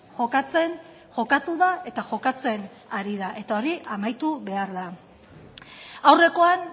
jokatzen jokatu da eta jokatzen ari da eta hori amaitu behar da aurrekoan